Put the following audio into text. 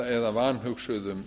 eða vanhugsuðum